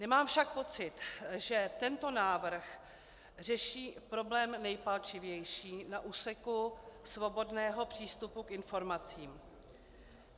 Nemám však pocit, že tento návrh řeší problém nejpalčivější na úseku svobodného přístupu k informacím.